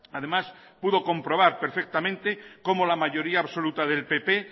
además pudo comprobar perfectamente como la mayoría absoluta del pp